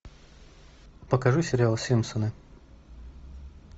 покажи сериал симпсоны